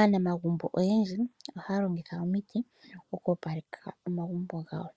Aanamagumbo oyendji ohaya longitha omiti okwoopaleka omagumbo gawo,